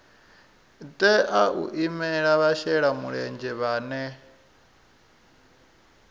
tea u imela vhashelamulenzhe vhane